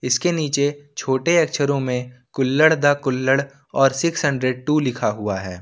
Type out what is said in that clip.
इसके नीचे छोटे अक्षरों में कुल्लड्ड द कुल्हड़ और सिक्स हंड्रेड टू लिखा हुआ है।